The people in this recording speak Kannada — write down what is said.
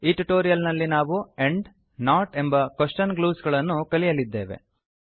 ಈ ಟ್ಯುಟೋರಿಯಲ್ ನಲ್ಲಿ ನಾವು ಆಂಡ್ ನಾಟ್ ಎಂಬ ಕ್ವೆಶ್ಚನ್ ಗ್ಲೂಸ್ ಗಳನ್ನು ಕಲಿಯಲಿದ್ದೇವೆ